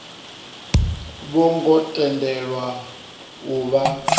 vho ngo tendelwa u vha